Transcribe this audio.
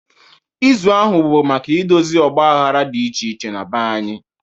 Izu ahụ bụ maka idozi ọgbaghara dị iche iche na be anyị.